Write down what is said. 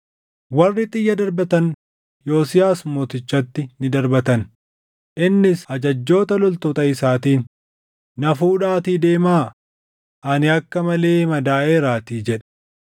Warri xiyya darbatan Yosiyaas Mootichatti ni darbatan; innis ajajjoota loltoota isaatiin, “Na fuudhaatii deemaa; ani akka malee madaaʼeeraatii” jedhe.